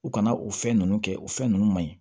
U kana o fɛn ninnu kɛ o fɛn ninnu man ɲi